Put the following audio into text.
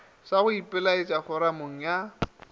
sa go ipelaetša foramong ya